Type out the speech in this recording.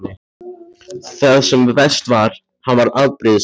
Það sem verst var: hann varð afbrýðisamur.